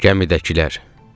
Gəmidəkilər.